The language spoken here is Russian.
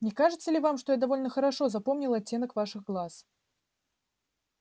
не кажется ли вам что я довольно хорошо запомнил оттенок ваших глаз